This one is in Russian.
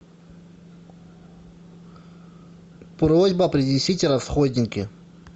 просьба принесите расходники